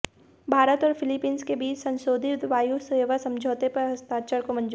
भारत और फिलीपींस के बीच संशोधित वायु सेवा समझौते पर हस्ताक्षर को मंजूरी